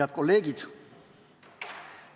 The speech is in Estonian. Head kolleegid!